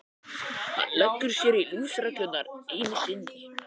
Hann leggur sér lífsreglurnar enn einu sinni.